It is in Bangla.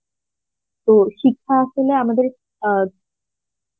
তো শিক্ষা আসলে আমাদের আ